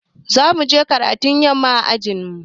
Za mu je karatun yamma anjima.